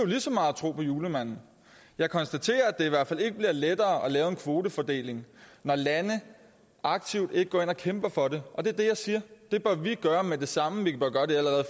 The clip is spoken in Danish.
lige så meget at tro på julemanden jeg konstaterer at det i hvert fald ikke bliver lettere at lave en kvotefordeling når lande aktivt ikke går ind og kæmper for det og det er det jeg siger at vi gøre med det samme vi bør gøre det allerede